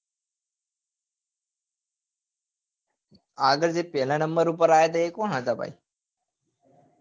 આગળ જે પેલા નંબર ઉપર આવ્યા હતા એ કોણ હતા ભાઈ